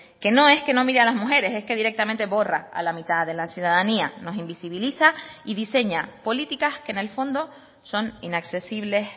que no es que no mire a las mujeres es que directamente borra a la mitad de la ciudadanía nos invisibiliza y diseña políticas que en el fondo son inaccesibles